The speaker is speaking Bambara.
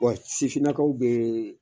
Wa sifinakaw bɛ